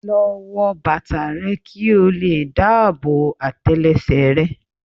Lọ wọ bàtà rẹ kí ó lè dáàbò àtẹlẹsẹ̀ rẹ.